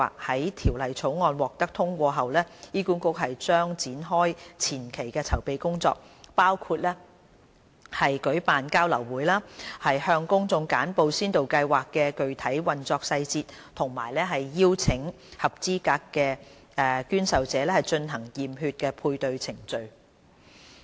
在《條例草案》獲得通過後，醫管局將展開前期的籌備工作，包括舉辦交流會，向公眾簡報先導計劃的具體運作細節和邀請合資格的捐受者進行驗血配對的程序。